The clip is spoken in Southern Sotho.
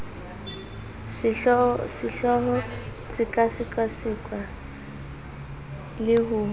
sehlooho se sekasekwa le ho